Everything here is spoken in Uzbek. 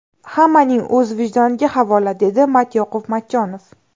Hammaning o‘z vijdoniga havola”, dedi Matyoqub Matchonov.